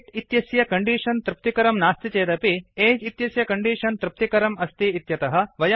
white इत्यस्य condition तृप्तिकरं नास्ति चेदपि एज् इत्यस्य कण्डीषन् तृप्तिकरम् अस्ति इत्यतः